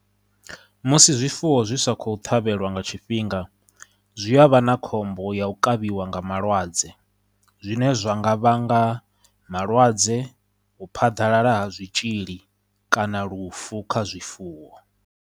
Musi zwifuwo zwi sa khou ṱhavhelwa nga tshifhinga zwi a vha na khombo ya u kavhiwa nga malwadze, zwine zwa nga vhanga malwadze, u phaḓalala ha zwitzhili, kana lufu kha zwifuwo.